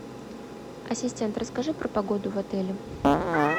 ассистент расскажи про погоду в отеле